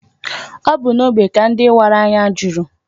Ọ bu n'ógbè ka ndị wara anya juru.